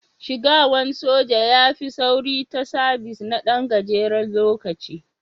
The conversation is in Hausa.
Shigawan soja ya fi sauri ta sabis na Dan gajeren lokaci.